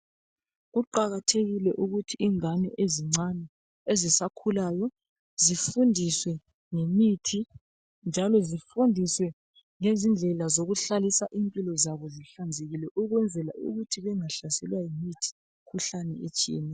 Kuqakathekile ukuthi ingane ezincane ezisakhulayo zifundiswe ngemithi, njalo zifundiswe ngezindlela zokuhlalisa impilo zabo zihlanzekile ukwenzela ukuthi bengahlaselwa yimikhuhlane etshiyeneyo.